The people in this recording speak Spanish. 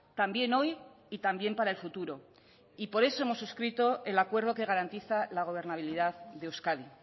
también hoy y también para el futuro y por eso hemos suscrito el acuerdo que garantiza la gobernabilidad de euskadi